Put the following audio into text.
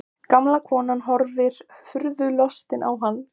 Gamla konan horfir furðulostin á hann.